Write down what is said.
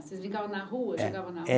Vocês brincavam na rua. É. Chegavam na